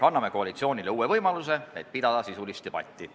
Anname koalitsioonile uue võimaluse pidada sisulist debatti.